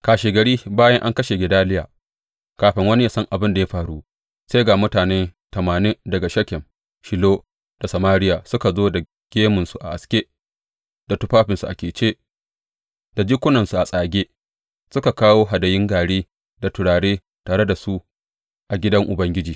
Kashegari bayan an kashe Gedaliya, kafin wani ya san abin da ya faru, sai ga mutane tamanin daga Shekem, Shilo da Samariya suka zo da gemunsu a aske, da tufafinsu a kece, da jikunansu a tsage, suka kawo hadayun gari da turare tare da su a gidan Ubangiji.